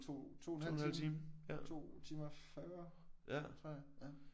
2 2 en halv time. 2 timer og 40 tror jeg ja